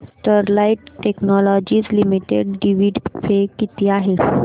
Sterlite technologies limited dividend pay किती आहे